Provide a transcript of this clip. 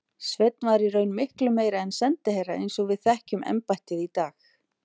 Sveinn var í raun miklu meira en sendiherra eins og við þekkjum embættið í dag.